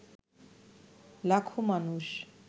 লাখো মানুষ